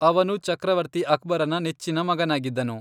ಅವನು ಚಕ್ರವರ್ತಿ ಅಕ್ಬರನ ನೆಚ್ಚಿನ ಮಗನಾಗಿದ್ದನು.